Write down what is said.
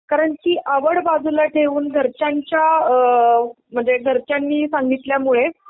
कारण ती आवड बाजूला ठेऊन घरच्यांच्या अ म्हणजे घरच्यांनी सांगितल्यामुळे